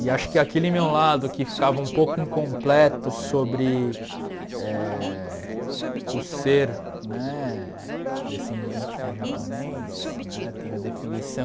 E acho que aquele meu lado que ficava um pouco incompleto sobre eh o ser né descendente de japonês né, tem a definição